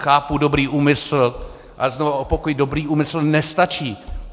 Chápu dobrý úmysl, ale znovu opakuji, dobrý úmysl nestačí.